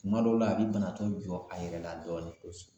Kuma dɔw la a bi banatɔ jɔ a yɛrɛ la dɔɔnin kosɛbɛ